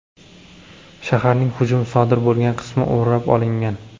Shaharning hujum sodir bo‘lgan qismi o‘rab olingan.